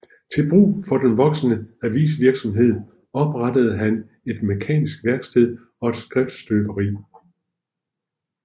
Til brug for den voksende avisvirksomhed oprettede han et mekanisk værksted og et skriftestøberi